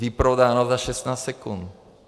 Vyprodáno za 16 sekund.